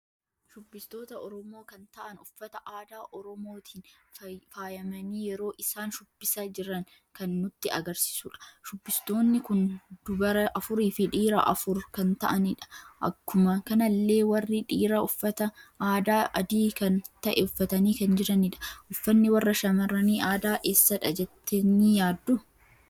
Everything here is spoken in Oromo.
Shubbistoota oromoo kan ta'aan uffata aadaa oromootiin faayamani yeroo isaan shubbisa jiran kan nutti agarsiisuudha. shubbistoonni kun dubara afuurii fi dhiira afuur kan ta'anidha. Akkuma kanallee warri dhiira uffata aadaa adii kan ta'e uffatani kan jiranidha. Uffanni warra shamarrani aadaa eessadha jettani yaaddu?